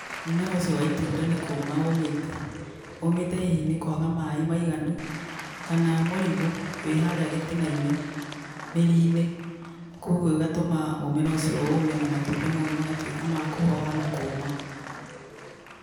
Mũmera ũcio wa itunda nĩ kũũma ũũmĩte. Ũũmĩte hihi nĩ kũaga maaĩ maiganu kana mũrimũ wĩ harĩa gĩtinainĩ, mĩri-inĩ, kwogwo ĩgatũma mũmera ũcio ũũme na matunda mau magatuĩka ma kũhoha na kũũma.